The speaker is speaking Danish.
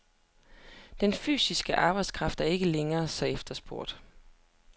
Den fysiske arbejdskraft er ikke længere så efterspurgt.